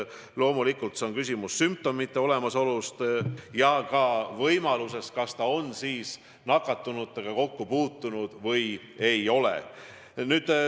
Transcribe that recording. Loomulikult on tähtis, kas sümptomeid on ja kas mõne nakatunuga on kokku puututud või ei ole.